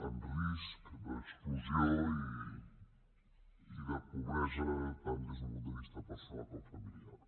en risc d’exclusió i de pobresa tant des d’un punt de vista personal com familiar